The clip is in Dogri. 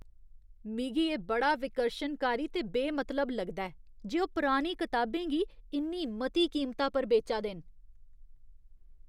मिगी एह् बड़ा विकर्शनकारी ते बेमतलब लगदा ऐ जे ओह् पुरानी कताबें गी इन्नी मती कीमता पर बेचा दे न।